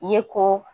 I ye ko